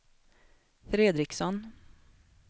Fredriksson